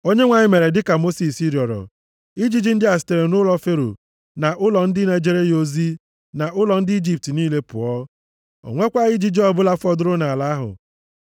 Onyenwe anyị mere dịka Mosis rịọrọ. Ijiji ndị a sitere nʼụlọ Fero na ụlọ ndị na-ejere ya ozi na ụlọ ndị Ijipt niile pụọ. O nwekwaghị ijiji ọ bụla fọdụrụ nʼala ahụ.